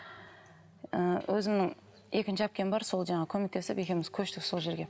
ы өзімнің екінші әпкем бар сол жаңағы көмектесіп екеуміз көштік сол жерге